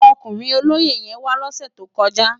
Òkúrin ólóyé yèn wá lòsè tókòjá